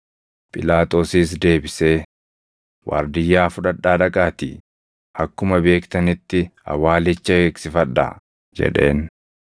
Phiilaaxoosis deebisee, “Waardiyyaa fudhadhaa dhaqaatii akkuma beektanitti awwaalicha eegsifadhaa” jedheen.